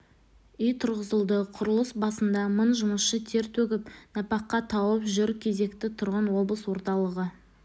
үй тұрғызылды құрылыс басында мың жұмысшы тер төгіп нәпақа тауып жүр кезекте тұрған облыс орталығы